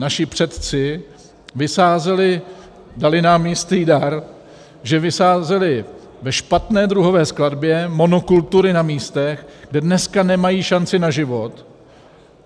Naši předci vysázeli, dali nám jistý dar, že vysázeli ve špatné druhové skladbě monokultury na místech, kde dneska nemají šanci na život.